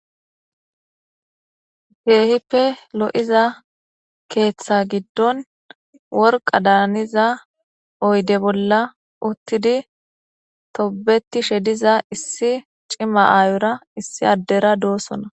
Kehipe lo'iza ketha gidon worqa daniza oyde bola utidi tobetishe diza issi c'ima ayora issi adera dosona.